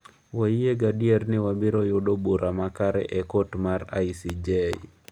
"""Wayie gadier ni wabiro yudo bura makare e kot mar ICJ."